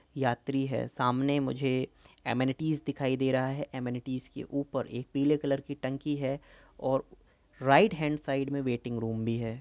यात्री है। सामने मुझे एमेनिटीज दिखाई दे रहा है। एमेनिटीज के ऊपर एक पीले कलर की टंकी है और राईट हैन्ड साइड में वेटिंग रूम भी है।